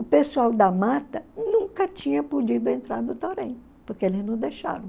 O pessoal da mata nunca tinha podido entrar no torém, porque eles não deixavam.